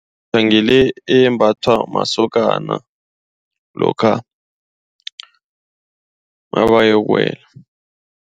Ngile embathwa masokana lokha nabayokuwela.